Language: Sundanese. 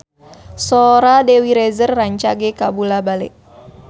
Sora Dewi Rezer rancage kabula-bale